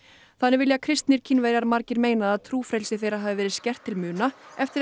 þannig vilja kristnir Kínverjar margir meina að trúfrelsi þeirra hafi verið skert til muna eftir að